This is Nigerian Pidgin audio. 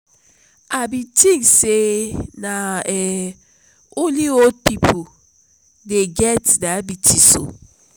i bin tink sey na um only old pipo dey get diabetes o.